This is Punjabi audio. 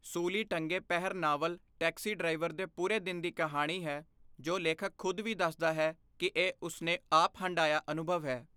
ਸੂਲੀ Tange Pehar novel taxi driver ਦੇ ਪੂਰੇ ਦਿਨ ਦੀ ਕਹਾਣੀ ਹੈ ਜੋ ਲੇਖਕ ਖੁਦ ਵੀ ਦੱਸਦਾ ਹੈ ਕਿ ਇਹ ਉਸਨੇ ਆਪ ਹਢਾਇਆ ਅਨੁਭਵ ਹੈ।